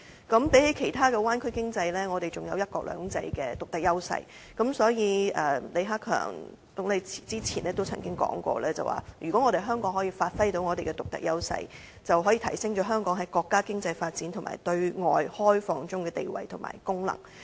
相比其他灣區的經濟，我們還有"一國兩制"的獨特優勢，所以，李克強總理早前說過，如果香港可以發揮到獨特優勢，便可以提升香港在國家經濟發展及對外開放的地位及功能。